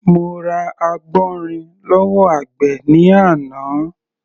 Mo ra àgbọ̀nrìn lọ́wọ́ àgbẹ̀ ní àná.